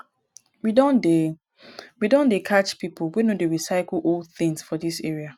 we don dey we don dey catch pipo wey no dey recycle old tins for dis area